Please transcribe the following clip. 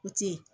O ti ye